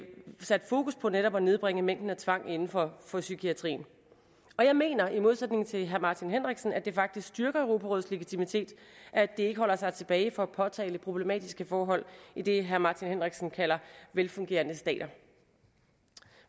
sat fokus på netop at nedbringe mængden af tvang inden for for psykiatrien og jeg mener i modsætning til herre martin henriksen at det faktisk styrker europarådets legitimitet at det ikke holder sig tilbage fra at påtale problematiske forhold i det herre martin henriksen kalder velfungerende stater